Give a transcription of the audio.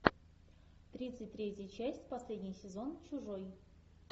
тридцать третья часть последний сезон чужой